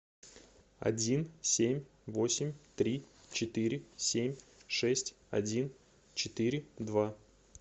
один семь восемь три четыре семь шесть один четыре два